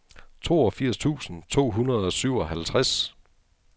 toogfirs tusind to hundrede og syvoghalvtreds